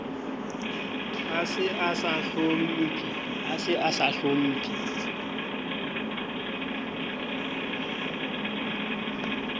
a se a sa hlomphe